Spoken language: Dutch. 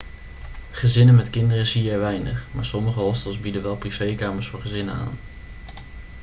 gezinnen met kinderen zie je er weinig maar sommige hostels bieden wel privékamers voor gezinnen aan